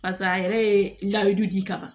Pasa a yɛrɛ ye layidu di ka ban